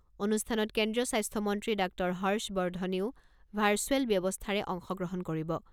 অনুষ্ঠানত কেন্দ্ৰীয় স্বাস্থ্যমন্ত্ৰী ডাঃ হৰ্ষবৰ্ধনেও ভাৰ্চুৱেল ব্যৱস্থাৰে অংশগ্ৰহণ কৰিব।